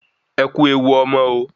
Ẹkú ewu ọmọ o